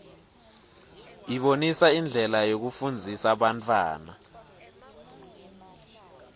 ibonisa indlela yekufundzisa bantfwana